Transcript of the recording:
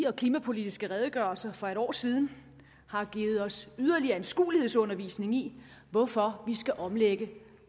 og klimapolitiske redegørelser for et år siden har givet os yderligere anskuelsesundervisning i hvorfor vi skal omlægge